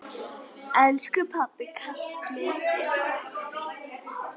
Elsku pabbi, kallið er komið.